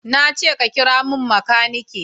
Na ce ka kira mun makaniki!